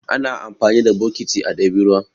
Ana amfani da bokiti a ɗebi ruwa.